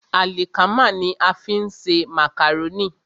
Àlìkámà ní a fi ń ṣe màkàrónì.